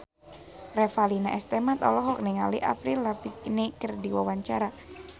Revalina S. Temat olohok ningali Avril Lavigne keur diwawancara